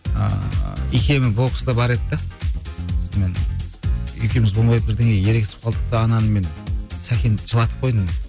ааа икемі боксқа бар еді де сонымен екеуміз болмай бірдеңеге ерегісіп қалдық та ананы мен сәкенді жылатып қойдым